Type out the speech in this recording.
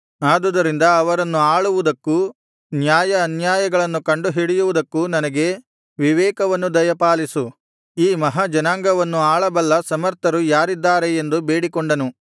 ಆದುದರಿಂದ ಅವರನ್ನು ಆಳುವುದಕ್ಕೂ ನ್ಯಾಯ ಅನ್ಯಾಯಗಳನ್ನು ಕಂಡುಹಿಡಿಯುವುದಕ್ಕೂ ನನಗೆ ವಿವೇಕವನ್ನು ದಯಪಾಲಿಸು ಈ ಮಹಾ ಜನಾಂಗವನ್ನು ಆಳಬಲ್ಲ ಸಮರ್ಥರು ಯಾರಿದ್ದಾರೆ ಎಂದು ಬೇಡಿಕೊಂಡನು